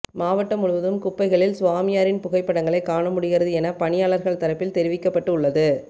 மாவட்டம் முழுவதும் குப்பைகளில் சாமியாரின் புகைப்படங்களை காணமுடிகிறது என பணியாளர்கள் தரப்பில் தெரிவிக்கப்பட்டு உள்ளது